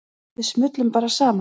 Við smullum bara saman.